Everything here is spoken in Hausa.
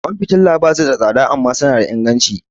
Kwan fitila ba su da tsada amma suna da inganci.